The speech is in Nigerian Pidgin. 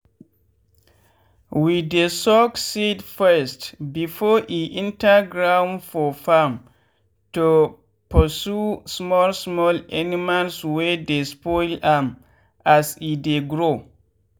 we dey soak seed first before e enter ground for farm to pursue small small animals wey dey spoil am as e dey grow.